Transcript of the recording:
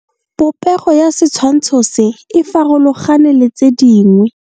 Popego ya setshwantsho se, e farologane le tse dingwe.